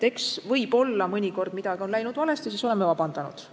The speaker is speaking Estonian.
Eks võib-olla mõnikord on midagi läinud valesti ja siis oleme vabandust palunud.